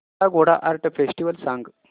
काला Ghoda art festival सांग